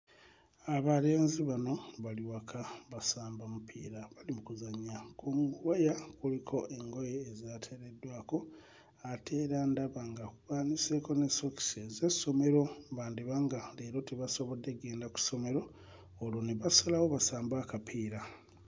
Abalenzi bano bali waka basamba mupiira bali mu kuzannya ku waya kuliko engoye ezaateereddwako ate era ndaba nga baaniseeko ne sokisi ez'essomero bandiba nga leero tebasobodde ggenda ku ssomero olwo ne basalawo basambe akapiira.